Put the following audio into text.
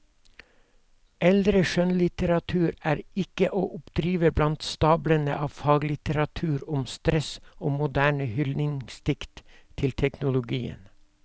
Eldre skjønnlitteratur er ikke å oppdrive blant stablene av faglitteratur om stress og moderne hyldningsdikt til teknologien.